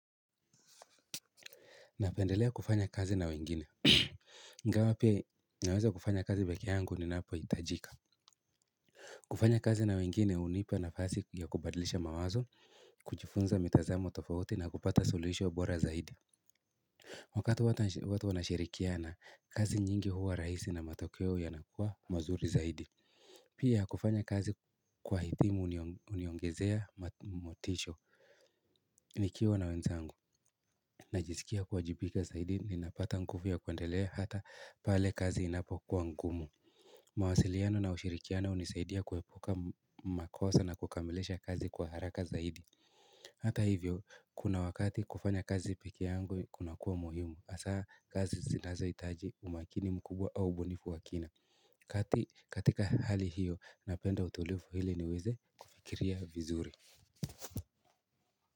Napendelea kufanya kazi na wengine ingawa pia naweza kufanya kazi peke yangu ni napo itajika kufanya kazi na wengine hunipa nafasi ya kubadlisha mawazo kujifunza mitazamo tofauti na kupata solution bora zaidi wakati watu wanashirikiana kazi nyingi huwa rahisi na matokeo yanakuwa mazuri zaidi pia kufanya kazi kwa hitimu huniongezea motisha nikiwa na wenzangu na jisikia kuwajibika zaidi ninapata nguvu ya kuendelea hata pale kazi inapo kuwa ngumu mawasiliano na ushirikiano hunisaidia kuepuka makosa na kukamilisha kazi kwa haraka zaidi hata hivyo kuna wakati kufanya kazi peke yangu kuna kuwa muhimu asaa kazi sinazo itaji umakini mkubwa au ubunifu wakina kati katika hali hiyo napenda utulivu ili niweze kufikiria vizuri.